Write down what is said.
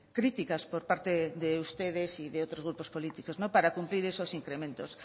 críticas por parte de ustedes y de otros grupos políticos para cumplir esos incrementos